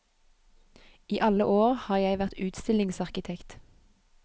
I alle år har jeg vært utstillingsarkitekt.